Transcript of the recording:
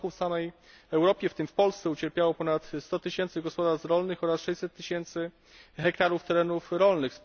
W tym roku w samej Europie, w tym w Polsce, ucierpiało ponad 100 tysięcy gospodarstw rolnych oraz 600 tysięcy hektarów terenów rolnych.